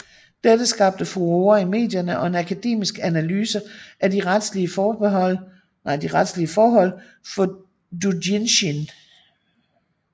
Dette skabte furore i medierne og en akademisk analyse af de retslige forhold for doujinshi